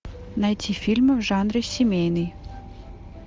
найти фильмы в жанре семейный